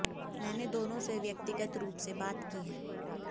मैंने दोनों से व्यक्तिगत रूप से बात की है